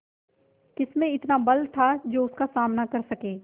किसमें इतना बल था जो उसका सामना कर सके